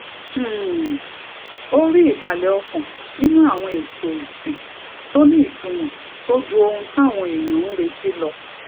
um ó rí ìbàlè ọkàn nínú àwọn èètò ìsìn tó ní ìtumò tó ju ohun táwọn èèyàn ń retí lọ